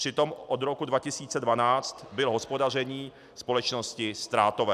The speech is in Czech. Přitom od roku 2012 bylo hospodaření společnosti ztrátové.